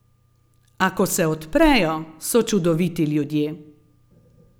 A ko se odprejo, so čudoviti ljudje.